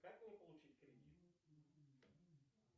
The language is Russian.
как мне получить кредит